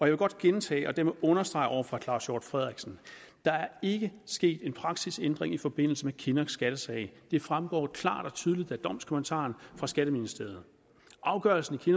vil godt gentage og dermed understrege over for herre claus hjort frederiksen der er ikke sket en praksisændring i forbindelse med kinnocks skattesag det fremgår klart og tydeligt af domskommentaren fra skatteministeriet afgørelsen i